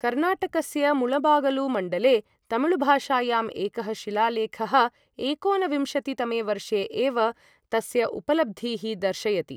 कर्णाटकस्य मुळबागलु मण्डले तमिळुभाषायां एकः शिलालेखः एकोनविंशति तमे वर्षे एव तस्य उपलब्धीः दर्शयति।